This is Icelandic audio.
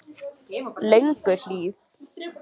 Lönguhlíð